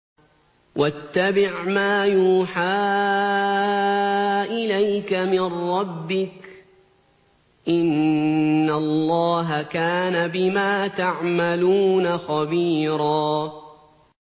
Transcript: وَاتَّبِعْ مَا يُوحَىٰ إِلَيْكَ مِن رَّبِّكَ ۚ إِنَّ اللَّهَ كَانَ بِمَا تَعْمَلُونَ خَبِيرًا